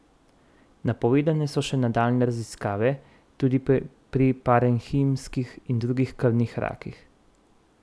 Napovedane so še nadaljnje raziskave tudi pri parenhimskih in drugih krvnih rakih.